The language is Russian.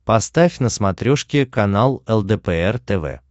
поставь на смотрешке канал лдпр тв